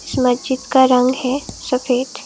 इस मस्जिद का रंग है सफेद।